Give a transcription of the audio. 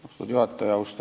Austatud juhataja!